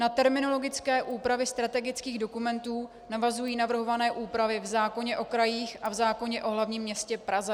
Na terminologické úpravy strategických dokumentů navazují navrhované úpravy v zákoně o krajích a v zákoně o hlavním městě Praze.